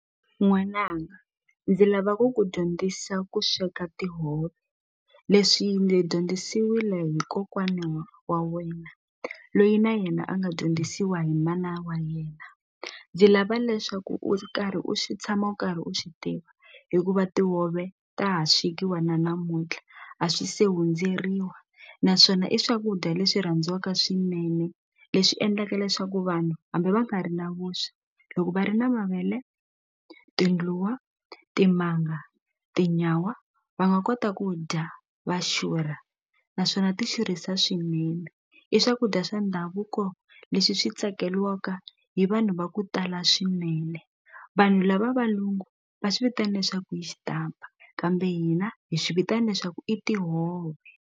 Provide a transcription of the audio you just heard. N'wananga ndzi lava ku ku dyondzisa ku sweka tihove leswi ndzi dyondzisiwile hi kokwana wa wa wena lweyi na yena a nga dyondzisiwa hi mana wa yena ndzi lava leswaku u karhi u tshama u karhi u swi tiva hikuva tihove ta ha swekiwa na namuntlha a swi se hundzeriwa naswona i swakudya leswi rhandziwaka swinene leswi endlaka leswaku vanhu hambi va nga ri na vuswa loko va ri na mavele tindluwa timanga tinyawa va nga kota ku dya va xurha naswona ti xurhisa swinene i swakudya swa ndhavuko leswi swi tsakeliwaka hi vanhu va ku tala swinene vanhu lava valungu va swi vitana leswaku i xitampa kambe hina hi swi vitana leswaku i tihove.